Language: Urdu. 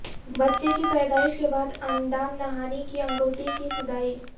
بچے کی پیدائش کے بعد اندام نہانی کی انگوٹی کی کھدائی